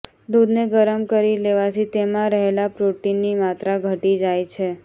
દૂધને ગરમ કરી લેવાથી તેમાં રહેલાં પ્રોટીનની માત્રા ઘટી જાય છે